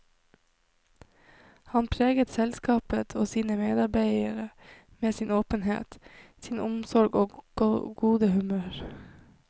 Han preget selskapet og sine medarbeidere med sin åpenhet, sin omsorg og gode humør.